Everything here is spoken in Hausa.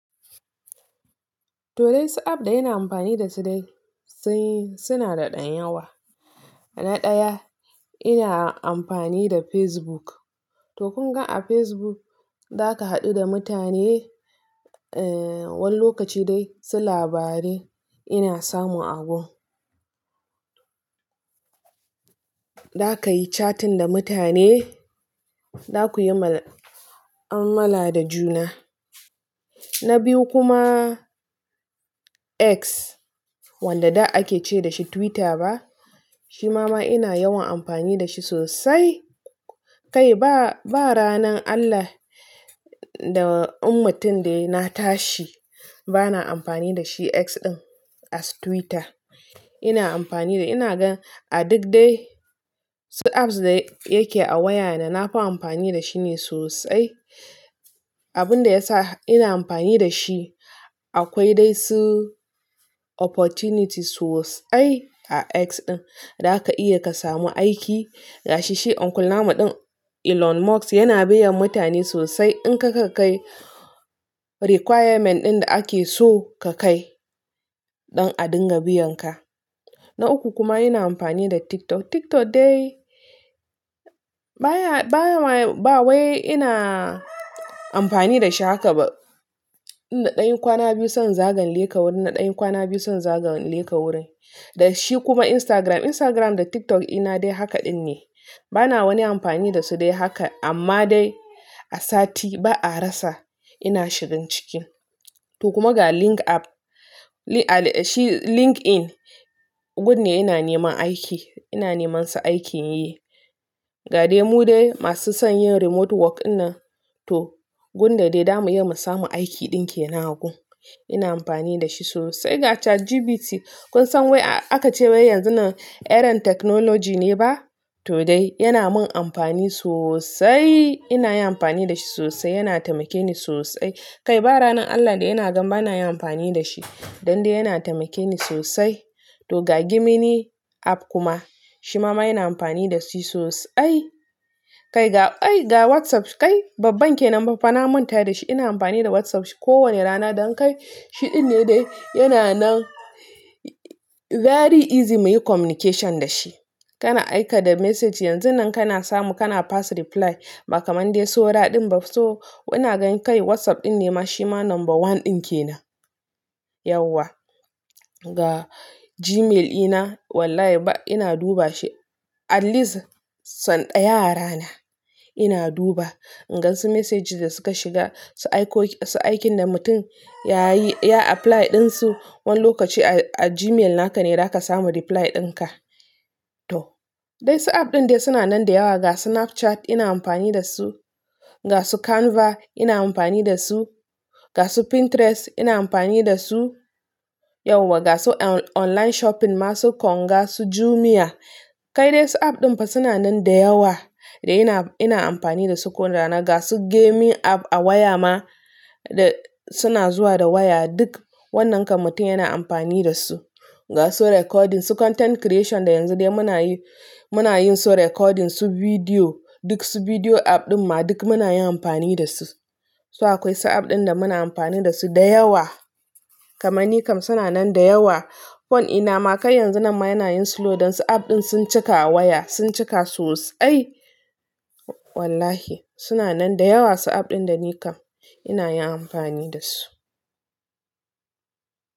To dai, su app da ina amfani da su dai sai suna da ɗan yawa. Na ɗaya ina amfani da Facebook. To kun ga a Facebook za ka haɗu da mutane, a wan lokaci dai su labarai ina samun agurin. Za ka yi chatting da mutane, za ku yi ma mala da juna. Na biyu kuma X wanda da ake ce da shi Twitter ba. Shi ma ina yawan amfani da shi sosai. Kai ba, ba ranan Allah da ummatin da na tashi bana amfani da shi X ɗin a Twitter. Ina amfani da ina ga a duk dai su apps da yake a waya na, na fi amfani da shi ne sosai. Abun da ya sa ina amfani da shi akwai dai su opportunity sosai a X ɗin. Za ka iya ka samu aiki. Ga shi shi Uncle namu ɗin Elon Musk yana biyan mutane sosai in kaga ka kai requirement ɗin da ake so ka kai don a dinga biyan ka. Na uku kuma ina amfani da TikTok. TikTok dai baya, baya ba wai ina amfani da shi haka ba. In da dayan kwana biyu son zagan leka wurin na dayan kwana biyu son zagan leka wurin. Da shi kuma Instagram. Instagram da TikTok ina dai haka ɗin ne. Bana wani amfani da su dai haka amma dai a sati ba a rasa ina shigan cikin. To kuma ga link app, shi LinkedIn gun ne yana neman aiki, ina neman su aikin yi. Ga dai mu dai masu son yin remote work na to gun da dai zamu iya mu samu aiki ɗin ke nan gun. Ina amfani da shi sosai. Ga ChatGPT kun san wai aka ce wai yanzun nan eran technology ne ba? To dai yana mun amfani sosai. Ina yi amfani da shi sosai, yana tamake ni sosai. Kai ba ranan Allah da yana gan ba na yi amfani da shi. Dan dai yana tamake ni sosai. To ga Gemini app kuma shi ma ina amfani da shi sosai. Kai ga, ga WhatsApp kai babban kenan ba, fa na manta da shi. Ina amfani da WhatsApp kowane rana don kai shi ɗin ne dai yana nan very easy mu yi communication da shi. Kana aika da message yanzun nan kana samu kana pass reply. Ba kaman dai su raɗin ba. So ina gan kai WhatsApp ɗin ne ma shi ma number one ɗin ke nan. Yauwa. Ga Gmail ina wallahi ba ina duba shi at least son ɗaya rana ina duba. In gan su message da suka shiga su aiko, su aikin da mutum ya yi, ya apply ɗin su, wan lokaci a, a Gmail naka ne za ka samu reply ɗin ka. To dai su app ɗin dai suna nan da yawa. Ga su Snapchat ina amfani da su, ga su Canva ina amfani da su, ga su Pinterest ina amfani da su. Yauwa, ga su online shopping masu Konga, su Jumia. Kai dai su app ɗin fa suna nan da yawa da ina, ina amfani da su kowane rana. Ga su gaming app a waya ma da suna zuwa da waya duk wannan ka mutum yana amfani da su. Ga su recording, su content creation da yanzu dai muna yi, muna yin su recording, su video duk su video app ɗin ma duk muna yin amfani da su. So akwai su app ɗin da muna amfani da su da yawa. Kamani kam suna nan da yawa. Phone ina ma kai yanzu nan ma yana yin slow don su app ɗin sun cika a waya, sun cika sosai. Wallahi suna nan da yawa su app ɗin da nika ina yin amfani da su.